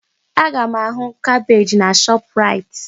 Aga m ahụ kabeeji na Shọpraịt.